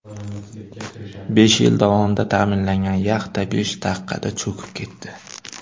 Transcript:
Besh yil davomida ta’mirlangan yaxta, besh daqiqada cho‘kib ketdi.